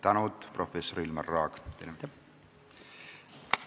Palju tänu, professor Ilmar Raag!